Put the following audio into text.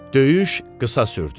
Döyüş qısa sürdü.